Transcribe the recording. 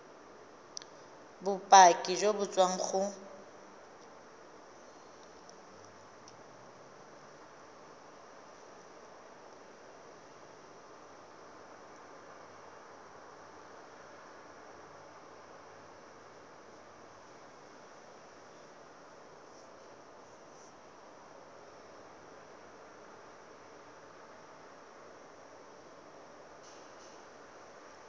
bopaki jo bo tswang go